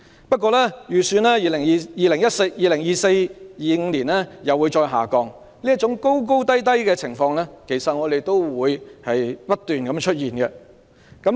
不過，預期 2024-2025 學年中一人口會再度下降，這種高低波動的情況其實會不斷出現。